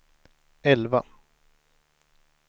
elva